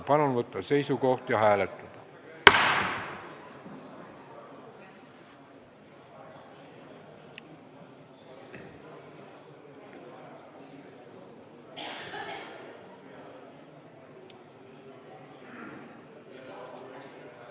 Palun võtta seisukoht ja hääletada!